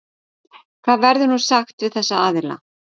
Hvað verður nú sagt við þessa aðila?